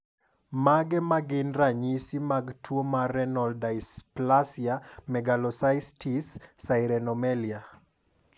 Mage magin ranyisi mag tuo mar Renal dysplasia megalocystis sirenomelia?